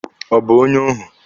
Ọ bụ onye óhù?